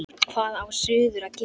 Hvað á suður að gera?